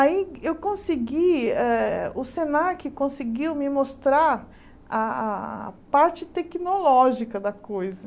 Aí eu consegui, ah o Senac conseguiu me mostrar a a a parte tecnológica da coisa.